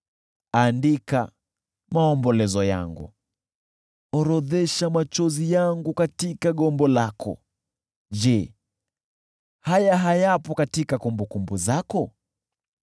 Andika maombolezo yangu, orodhesha machozi yangu katika gombo lako: je, haya hayapo katika kumbukumbu zako?